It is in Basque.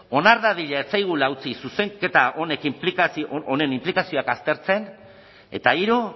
onar dadila ez zaigula utzi zuzenketa honen inplikazioak aztertzen eta hiru